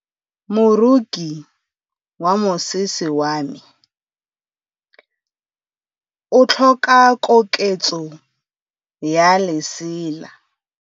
Moroki wa mosese wa me o tlhoka koketsô ya lesela.